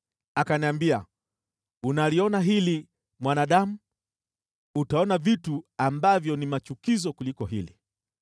Akaniambia, “Unaliona hili, mwanadamu? Utaona vitu ambavyo ni machukizo kuliko hili.”